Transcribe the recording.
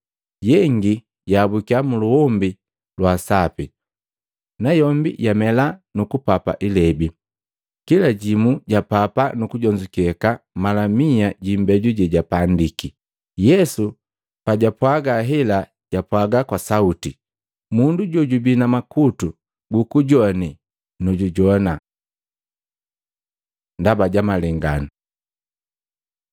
Yengi yaabuki muluombi lwa sapi, nayombi yamela nukupapa ilebi, kila jimu ja papa nu kujonzukeka mala miya jiimbeju jejapandiki.” Yesu pajwapwaga hela japwaga kwa sauti, “Mundu jojubi na makutu gukujoane nujujowana!” Ndaba ja malengano Matei 13:10-17; Maluko 4:10-12